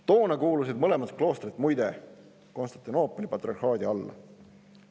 Toona kuulusid mõlemad kloostrid muide Konstantinoopoli patriarhaadi alla.